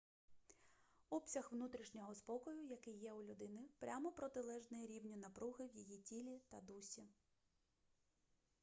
обсяг внутрішнього спокою який є у людини прямо протилежний рівню напруги в її тілі та дусі